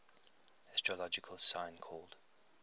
astrological sign called